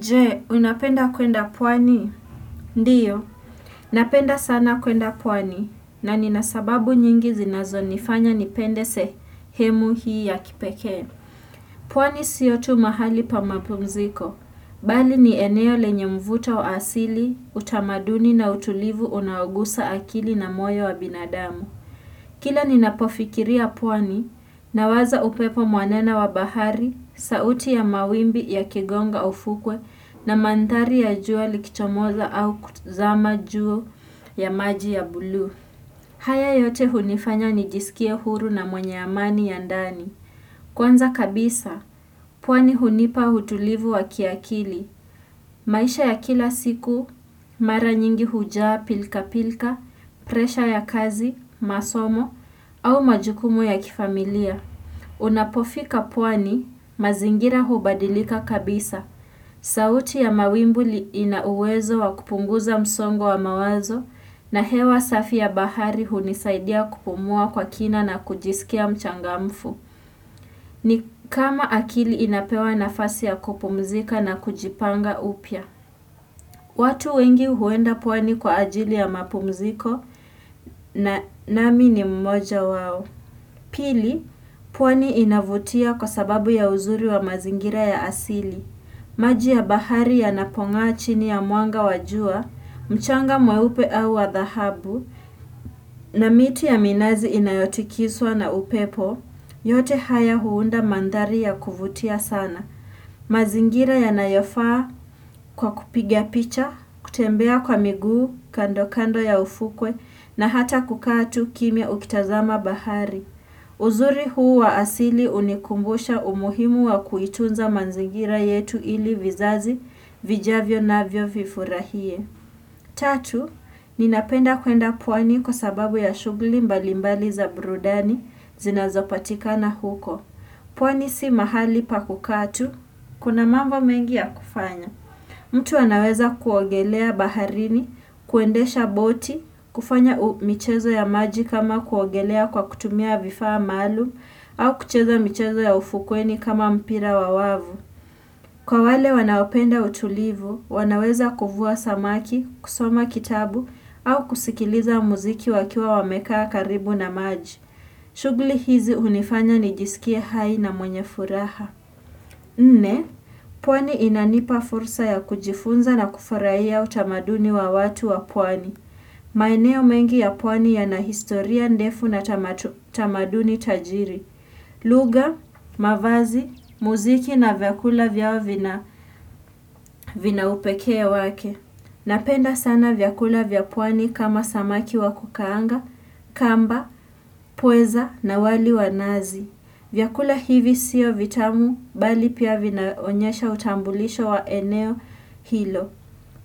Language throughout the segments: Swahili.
Je, unapenda kuenda pwani? Ndiyo, napenda sana kuenda pwani, na nina sababu nyingi zinazonifanya nipende sehemu hii ya kipekee. Pwani sio tu mahali pa mapumziko, bali ni eneo lenye mvuto wa asili, utamaduni na utulivu unaogusa akili na moyo wa binadamu. Kila ninapofikiria pwani nawaza upepo mwanana wa bahari, sauti ya mawimbi yakigonga ufukwe na manthari ya jua likichomoza au kuzama juu ya maji ya buluu. Haya yote hunifanya nijisikie huru na mwenye amani ya ndani. Kwanza kabisa, pwani hunipa utulivu wa kiakili, maisha ya kila siku, mara nyingi hujaa pilka pilka, presha ya kazi, masomo, au majukumu ya kifamilia. Unapofika pwani, mazingira hubadilika kabisa, sauti ya mawimbi li ina uwezo wa kupunguza msongo wa mawazo, na hewa safi ya bahari hunisaidia kupumua kwa kina na kujisikia mchangamfu. Ni kama akili inapewa nafasi ya kupumzika na kujipanga upya. Watu wengi huenda pwani kwa ajili ya mapumziko na nami ni mmoja wao. Pili, puwani inavutia kwa sababu ya uzuri wa mazingira ya asili. Maji ya bahari yanapong'aa chini ya mwanga wa jua, mchanga mweupe au wa dhahabu, na miti ya minazi inayotikiswa na upepo, yote haya huunda manthari ya kuvutia sana. Mazingira yanayofaa kwa kupiga picha, kutembea kwa miguu, kando kando ya ufukwe, na hata kukaa tu kimya ukitazama bahari. Uzuri huu wa asili unikumbusha umuhimu wa kuitunza manzingira yetu ili vizazi, vijavyo navyo vifurahie. Tatu, ninapenda kuenda pwani kwa sababu ya shughli mbalimbali za brudani zinazopatikana huko. Pwani si mahali pakukaa tu, kuna mamba mengi ya kufanya. Mtu anaweza kuogelea baharini, kuendesha boti, kufanya u michezo ya maji kama kuogelea kwa kutumia vifaa maalum, au kucheza mchezo ya ufukweni kama mpira wa wavu. Kwa wale wanaopenda utulivu, wanaweza kuvua samaki, kusoma kitabu, au kusikiliza muziki wakiwa wamekaa karibu na maji. Shugli hizi hunifanya nijisikie hai na mwenye furaha. Nne, pwani inanipa fursa ya kujifunza na kufuraia utamaduni wa watu wa pwani. Shugli hizi hunifanya nijisikie hai na mwenye furaha. Lugha, mavazi, muziki na vyakula vyao vina upekee wake Napenda sana vyakula vya pwani kama samaki wa kukaanga, kamba, pweza na wali wa nazi vyakula hivi siyo vitamu bali pia vinaonyesha utambulisha wa eneo hilo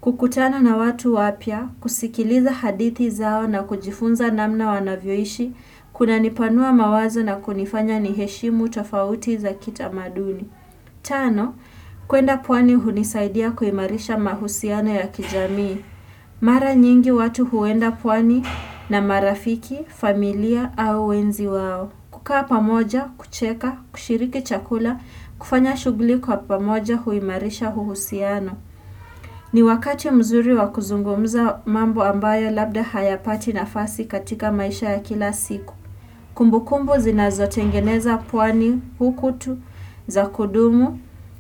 kukutana na watu wapya, kusikiliza hadithi zao na kujifunza namna wanavyoishi Kunanipanua mawazo na kunifanya niheshimu tofauti za kitamaduni Tano, kuenda pwani hunisaidia kuimarisha mahusiano ya kijamii Mara nyingi watu huenda pwani na marafiki, familia au wenzi wao kukaa pamoja, kucheka, kushiriki chakula, kufanya shugli kwa pamoja huimarisha huhusiano ni wakati mzuri wa kuzungumuza mambo ambayo labda hayapati nafasi katika maisha ya kila siku Kumbukumbu zinazotengeneza pwani huku tu za kudumu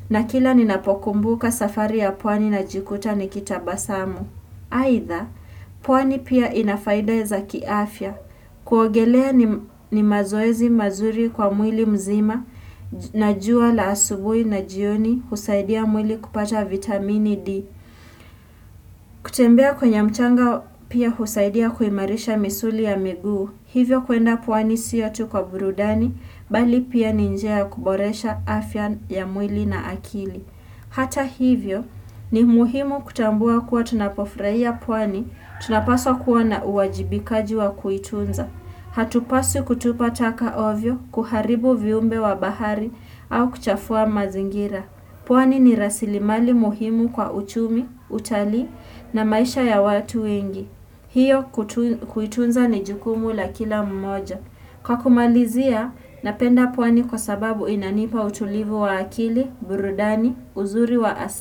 na kila ninapokumbuka safari ya pwani najikuta nikitabasamu. Aidha, pwani pia ina faida za kiafya. Kuogelea ni mazoezi mazuri kwa mwili mzima na jua la asubui na jioni husaidia mwili kupata vitamini D. Kutembea kwenye mchanga pia husaidia kuimarisha misuli ya miguu. Hivyo kuenda pwani siyo tu kwa burudani, bali pia ni njia ya kuboresha afya ya mwili na akili. Hata hivyo, ni muhimu kutambua kuwa tunapofraia pwani, tunapaswa kuwa na uwajibikaji wa kuitunza. Hatupaswi kutupa taka ovyo, kuharibu viumbe wa bahari, au kuchafua mazingira. Pwani ni rasilimali muhimu kwa uchumi, utalii na maisha ya watu wengi. Hiyo huitunza ni jukumu la kila mmoja. Kwa kumalizia, napenda pwani kwa sababu inanipa utulivu wa akili, burudani, uzuri wa asili.